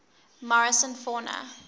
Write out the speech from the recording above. morrison fauna